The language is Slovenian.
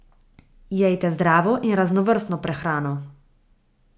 Jejte zdravo in raznovrstno prehrano.